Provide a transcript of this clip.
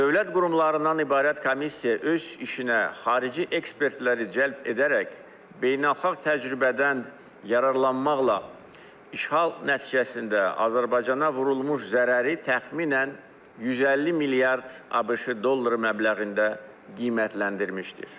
Dövlət qurumlarından ibarət komissiya öz işinə xarici ekspertləri cəlb edərək beynəlxalq təcrübədən yararlanmaqla işğal nəticəsində Azərbaycana vurulmuş zərəri təxminən 150 milyard ABŞ dolları məbləğində qiymətləndirmişdir.